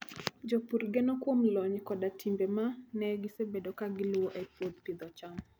Jopur geno kuom lony koda timbe ma ne gisebedo ka giluwo e pidho cham.